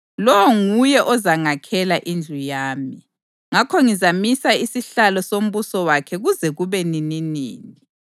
Lowo nguye ozangakhela indlu yami, ngakho ngizamisa isihlalo sombuso wakhe kuze kube nininini.